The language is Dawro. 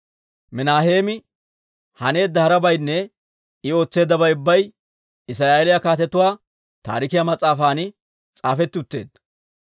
Minaaheemi haneedda harabaynne I ootseeddabay ubbay Israa'eeliyaa Kaatetuu Taarikiyaa mas'aafan s'aafetti utteedda.